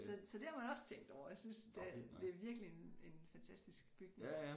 Så så det har man også tænkt over og jeg synes det det er virkelig en en fantastisk bygning